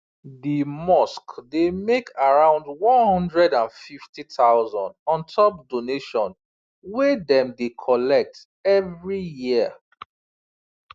the mosque dey make around 150000 on top donation wey dem dey collect every year